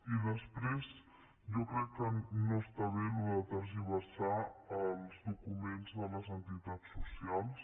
i després jo crec que no està bé això de tergiversar els documents de les entitats socials